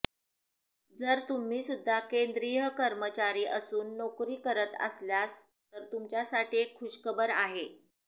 जर तुम्हीसुद्धा केंद्रीय कर्मचारी असून नोकरी करत असल्यास तर तुमच्यासाठी एक खुशखबर आहे